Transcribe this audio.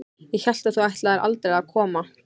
Ég hélt að þú ætlaðir aldrei að koma.